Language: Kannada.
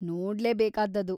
ನೋಡ್ಲೇ ಬೇಕಾದ್ದದು.